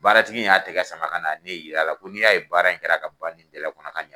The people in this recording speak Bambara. Baaratigi y'a tigɛ sama ka na ne yir'a la ko n'i y'a ye baara in kɛra ka ban nin kɔnɔ ka ɲa.